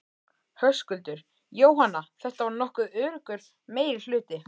Höskuldur: Jóhanna, þetta var nokkuð öruggur meirihluti?